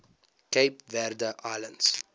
cape verde islands